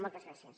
moltes gràcies